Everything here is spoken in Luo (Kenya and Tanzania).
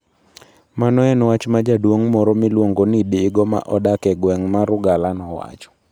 Mano en wach ma jaduong' moro miluongo ni Digo ma odak e gweng' mar Ugala nowacho.